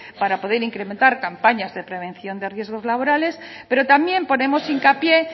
para poder incrementar campañas de prevención de riesgos laborales pero también ponemos hincapié